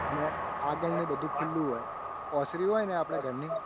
અને આગળનું બધું ખુલ્લું હોય ને ઓસરી હોય આપણા ઘરની